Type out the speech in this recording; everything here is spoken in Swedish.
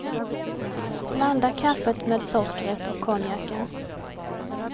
Blanda kaffet med sockret och konjaken.